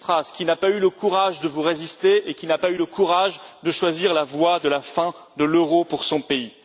Tsipras, qui n'a pas eu le courage de vous résister et qui n'a pas eu le courage de choisir la voie de la fin de l'euro pour son pays.